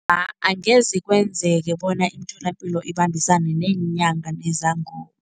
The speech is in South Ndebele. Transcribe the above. Angeze kwenzeke, bona iimtholapilo ibambisane neenyanga nezangoma.